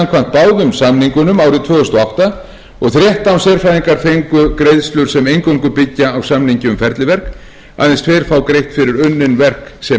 báðum samningunum árið tvö þúsund og átta og þrettán sérfræðingar fengu greiðslur sem eingöngu byggja á samningi um ferliverk aðeins tveir fá greitt fyrir unnin verk sem